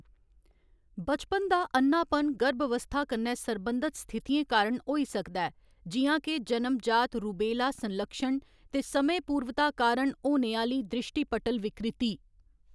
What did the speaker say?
बचपन दा अ'न्नापन गर्भावस्था कन्नै सरबंधत स्थितियें कारण होई सकदा ऐ, जि'यां के जनम जात रूबेला संलक्षण ते समयपूर्वता कारण होने आह्‌ली दृश्टिपटल विकृति।